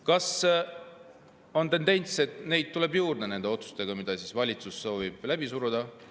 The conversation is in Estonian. Kas on tendents, et neid tuleb juurde nende otsustega, mida valitsus soovib läbi suruda?